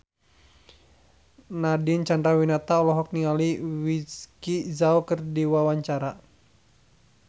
Nadine Chandrawinata olohok ningali Vicki Zao keur diwawancara